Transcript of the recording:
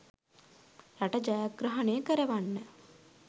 රට ජයග්‍රහණය කරවන්න.